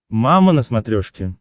мама на смотрешке